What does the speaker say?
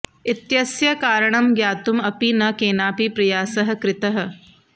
इत्यस्य कारणं ज्ञातुम् अपि न केनापि प्रयासः कृतः